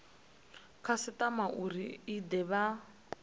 khasitama uri i de vha